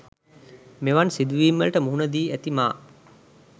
මෙවන් සිදුවීම් වලට මුහුණ දී ඇති මා